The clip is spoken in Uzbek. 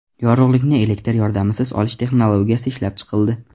Yorug‘likni elektr yordamisiz olish texnologiyasi ishlab chiqildi.